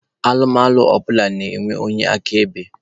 Alụmalụ ọbụla na-enwe onye akaebe.